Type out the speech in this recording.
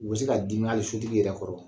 U bɛ se ka dimi hai sotigi yɛrɛ kɔrɔ